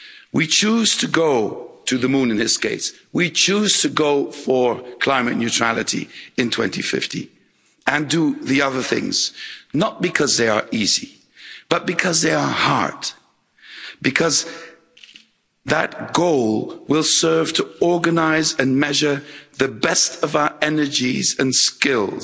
We choose to go we choose to go for climate neutrality in 2050 and do the other things, not because they are easy but because they are hard, because that goal will serve to organise and measure the best of our energies and skills,